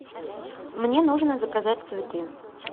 мне нужно заказать цветы